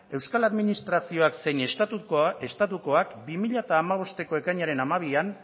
euskal administrazioak zein estatukoak bi mila hamabosteko ekainaren hamabian